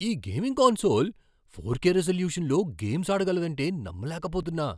ఈ gaming console four K రిజల్యూషన్లో games ఆడగలదంటే నమ్మలేకపోతున్నా.